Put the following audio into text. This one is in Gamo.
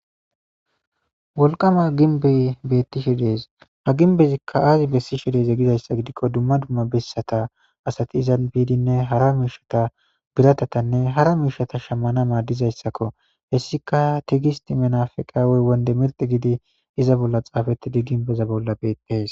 Wolqama ginbey beettishe dees. Ha ginbezikka aazi bessishe.dize gizayssa gidikko dumma dumma bessata asati izan biidinne hara miishata biratatanne hara miishata shammana maaddizayssakko. Hessika tigisti minafaqawey wonde mirdi gidi iza bolla xaafettidi ginbeza bolla beetees.